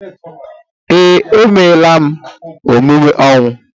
Ee, emela m emume ọnwụ